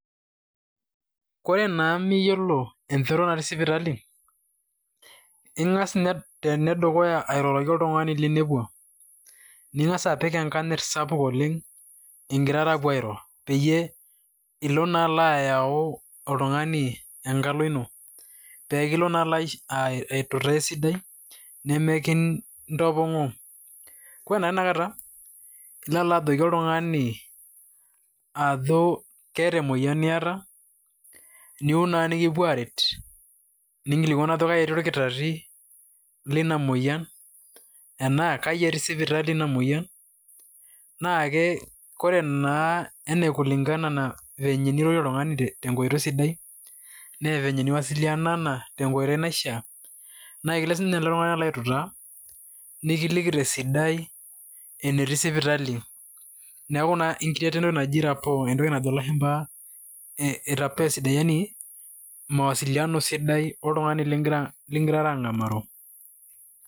Koree naa miyiolo enchoto naati sipitali, ing'as ene dukaya airoroki oltung'ani linepua. Ning'as apik enkanyet sapuk oleng' igirara apuo airo peyie ilo naa alo ayau oltung'ani enkalo ino pekilo naa auta esidai nemikintapong'oo. Ore taa tanakata ilo ajoki oltung'ani ajo keeta emoyian niyata, niyieu naa nikipuo aret, ninkilikuanu ajo kaji etii olkitari lina moyian enaa kaji eti sipitali ina moyian naa ore naa kulingana venye nirorie oltung'ani tenkoitoi sidai na vile niwasililianana tenkoitoi naishaa naa ikilo sii ninye ele tung'ani alo autaa nikiliki tesidai enetiii sipitali neeku naa icreata entoki naji rapo entoki najo lashumba rapo sidai yaani mawasiliano sidai oltung'ani ligirara ang'amaro